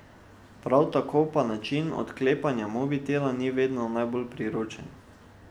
Prav tako pa ta način odklepanja mobitela ni vedno najbolj priročen.